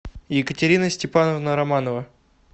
екатерина степановна романова